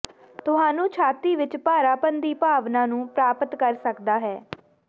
ਤੁਹਾਨੂੰ ਛਾਤੀ ਵਿਚ ਭਾਰਾਪਣ ਦੀ ਭਾਵਨਾ ਨੂੰ ਪ੍ਰਾਪਤ ਕਰ ਸਕਦਾ ਹੈ